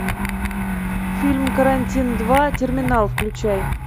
фильм карантин два терминал включай